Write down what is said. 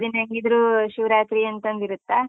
ಕಡೆ ದಿನ ಹೆಂಗಿದ್ರೂ ಶಿವರಾತ್ರಿ ಅಂತೊಂದಿರತ್ತಾ?